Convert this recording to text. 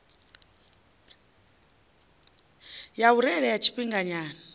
ya u reila ya tshifhinganyana